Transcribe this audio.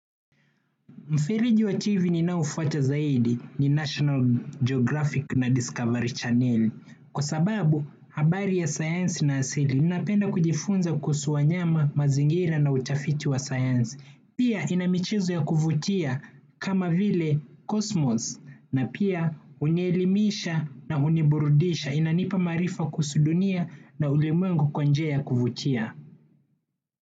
Mfereji wa TV ninaofuata zaidi ni National Geographic na Discovery Channel. Kwa sababu, habari ya sayansi na asili, ni napenda kujifunza kuhusu wanyama mazingira na utafiti wa sayansi. Pia, ina michezo ya kuvutia kama vile cosmos. Na pia, hunielimisha na huniburudisha. Inanipa maarifa kuhusu dunia na ulimwengu kwa njia ya kuvutia.